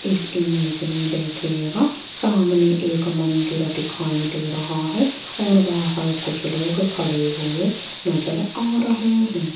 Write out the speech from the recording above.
इस इमेज में देखियेगा सामने एक मंदिर दिखाई दे रहा है और बाहर कुछ लोग खड़े हुए नजर आ रहे हैं।